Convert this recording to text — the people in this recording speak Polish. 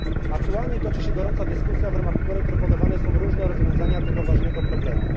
Aktualnie toczy się gorąca dyskusja, w ramach której proponowane są różne rozwiązania tego ważnego problemu.